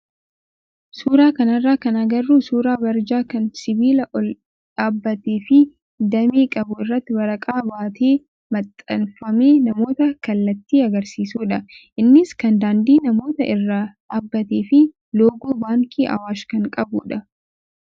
Suuraa kanarraa kan agarru suuraa barjaa kan sibiila ol dhaabbatee fi damee qabu irratti warqaa baatee maxxanfamee namoota kallatti agarsiisudha. Innis kan daandii namootaa irra dhaabbatee fi loogoo baankii awaash kan qabudha.